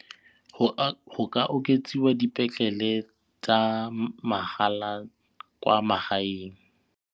Go ka oketsiwa dipetlele tsa mahala kwa magaeng.